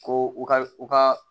Ko u ka u ka